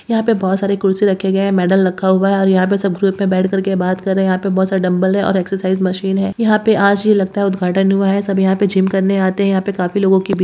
यहां पे बहुत सारे कुर्सी रखे गए है मेडल रखा हुआ है और यहां पे सब ग्रुप में बैठ करके बात कर रहे हैं यहां पे बहुत सारे डंबल हैं और एक्सरसाइज मशीन है यहां पर आज ही लगता है उद्घाटन हुआ है सब यहां पर जिम करने आते है यहाँ पे काफी लोगों की भीड़ --